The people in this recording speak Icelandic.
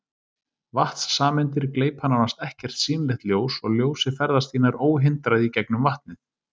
Vatnssameindir gleypa nánast ekkert sýnilegt ljós og ljósið ferðast því nær óhindrað í gegnum vatnið.